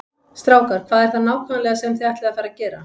Strákar, hvað er það nákvæmlega sem þið ætlið að fara að gera?